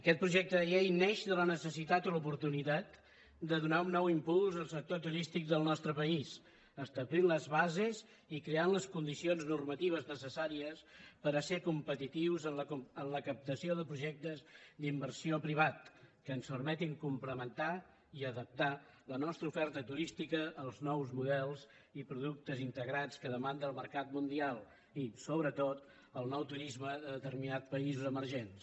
aquest projecte de llei neix de la necessitat i l’oportunitat de donar un nou impuls al sector turístic del nostre país establint les bases i creant les condicions normatives necessàries per a ser competitius en la captació de projectes d’inversió privats que ens permetin complementar i adaptar la nostra oferta turística als nous models i productes integrats que demanda el mercat mundial i sobretot el nou turisme de determinats països emergents